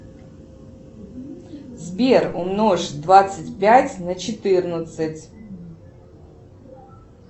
сбер умножь двадцать пять на четырнадцать